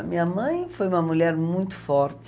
A minha mãe foi uma mulher muito forte.